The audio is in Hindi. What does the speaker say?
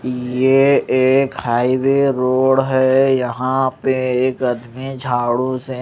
यह एक हाईवे रोड है यहां पे एक आदमी झाड़ू से--